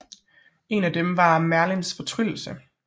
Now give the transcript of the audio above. Et af dem var Merlins fortryllelse